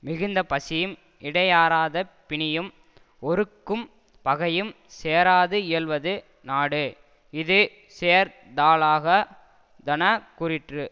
மிகுந்த பசியும் இடையாறாத பிணியும் ஒறுக்கும் பகையும் சேராது இயல்வது நாடு இது சேர் தலாகா தன கூறிற்று